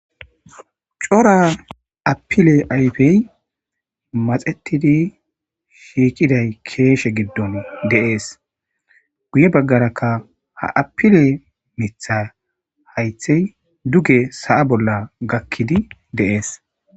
cora apile ayfey maxetidi shiiqiday keeshe giddon deees. guye baggarakka ha apile miiththa haythey duge sa'a bolla gakkidi deees.